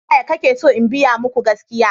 Ta yaya kake so in biya muku gaskiya?